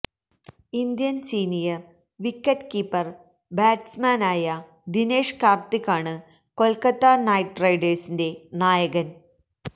Indian senior wicket keeper ബാറ്റ്സ്മാനായ ദിനേഷ് കാർത്തിക്കാണ് Kolkata knight റൈഡേഴ്സിന്റെ നായകൻ